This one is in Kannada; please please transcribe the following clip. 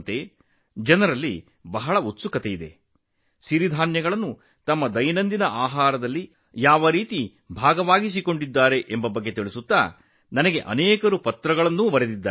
ಅಂತಹ ಹಲವಾರು ಪತ್ರಗಳು ನನಗೆ ಬಂದಿವೆ ಅದರಲ್ಲಿ ಜನರು ಸಿರಿಧಾನ್ಯವನ್ನು ತಮ್ಮ ದೈನಂದಿನ ಆಹಾರದ ಭಾಗವಾಗಿ ಮಾಡಿಕೊಂಡಿರುವ ಬಗ್ಗೆ ಬರೆದಿದ್ದಾರೆ